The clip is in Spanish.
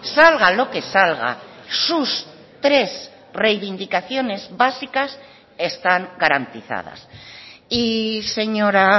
salga lo que salga sus tres reivindicaciones básicas están garantizadas y señora